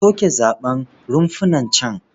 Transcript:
A soke zaɓen runfunan can.